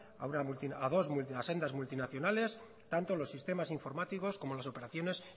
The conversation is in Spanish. a sendas multinacionales tanto los sistemas informáticos como las operaciones